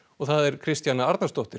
Kristjana Arnarsdóttir